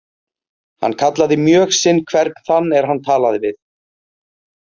Hann kallaði mjög sinn hvern þann er hann talaði við.